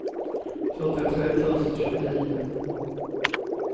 fyrtiotre tusen tjugonio